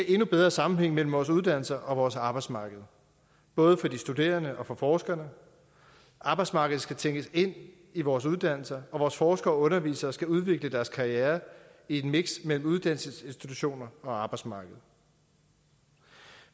endnu bedre sammenhæng mellem vores uddannelser og vores arbejdsmarked både for de studerende og for forskerne arbejdsmarkedet skal tænkes ind i vores uddannelser og vores forskere og undervisere skal udvikle deres karriere i et miks mellem uddannelsesinstitutioner og arbejdsmarked